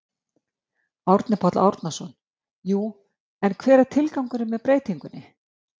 Árni Páll Árnason: Jú en hver er tilgangurinn með breytingunni?